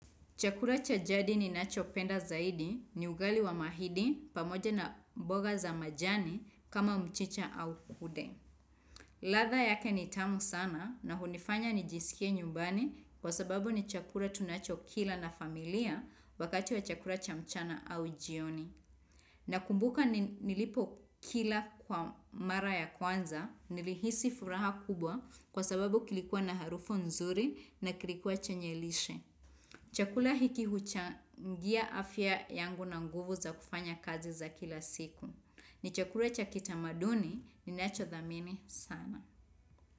Chakula cha jadi ninacho penda zaidi ni ugali wa mahidi pamoja na mboga za majani kama mchicha au kude. Latha yake ni tamu sana na hunifanya ni jiskie nyumbani kwa sababu ni chakula tunacho kila na familia wakati wa chakula cha mchana au jioni. Na kumbuka nilipo kila kwa mara ya kwanza nilihisi furaha kubwa kwa sababu kilikuwa na harufu nzuri na kilikuwa chenye lishe. Chakula hiki huchangia afya yangu na nguvu za kufanya kazi za kila siku. Ni chakula cha kitamaduni ninacho dhamini sana.